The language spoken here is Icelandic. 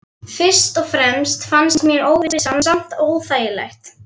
Fyrst og fremst fannst mér óvissan samt óþægileg.